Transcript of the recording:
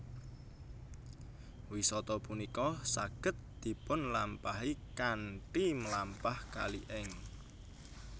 Wisata punika saged dipunlampahi kanthi mlampah kali ing